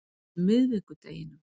miðvikudeginum